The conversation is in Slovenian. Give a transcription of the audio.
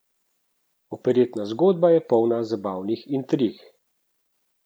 Operetna zgodba je polna zabavnih intrig.